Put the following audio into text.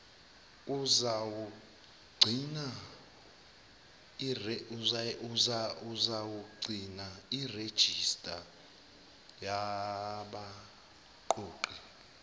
uzawugcina irejista yabaqoqi